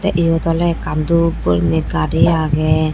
eyot oley ekkan dup gurine gari agey.